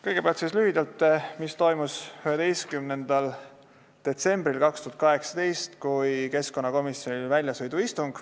Kõigepealt lühidalt sellest, mis toimus 11. detsembril 2018, kui keskkonnakomisjonil oli väljasõiduistung.